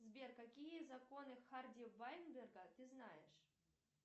сбер какие законы харди вайнберга ты знаешь